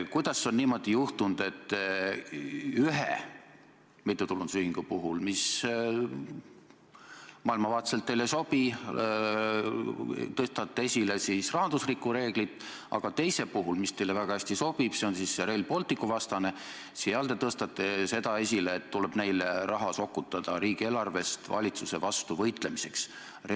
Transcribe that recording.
Kuidas on niimoodi juhtunud, et ühe mittetulundusühingu puhul, mis maailmavaateliselt teile ei sobi, te tõstate esile rahandusreegleid, aga teist, mis teile väga hästi sobib – näiteks see Rail Balticu vastane –, te tõstate esile ja leiate, et tuleb neile riigieelarvest raha sokutada valitsuse vastu võitlemiseks?